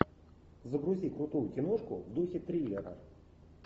загрузи крутую киношку в духе триллера